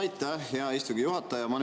Aitäh, hea istungi juhataja!